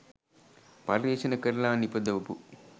පර්යේෂණ කරලා නිපදවපු